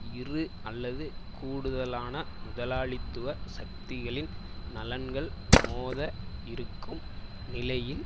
இரு அல்லது கூடுதலான முதலாளித்துவ சக்திகளின் நலன்கள் மோத இருக்கும் நிலையில்